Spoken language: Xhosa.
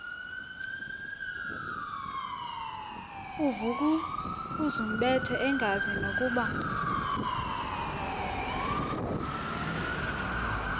uvukuzumbethe engazi nokuba